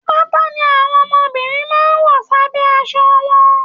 Pátá ní àwọn ọmọbìnrin máa n wọ s'abẹ aṣọ wọn.